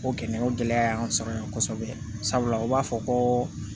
O gɛlɛya o gɛlɛya y'an sɔrɔ yan kɔsɔbɛ sabula o b'a fɔ ko